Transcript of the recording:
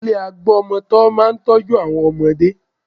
Ilé agbọmọtọ́ máa ń tọ́jú àwọn ọmọdé